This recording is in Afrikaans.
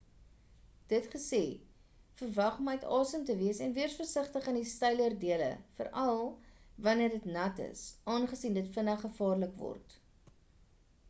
dit gesê verwag om uit asem te wees en wees versigtig in die steiler dele veral' wanneer dit nat is aangesien dit vinnig gevaarlik word